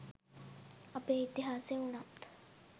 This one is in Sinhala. අපේ ඉතිහාසය උනත්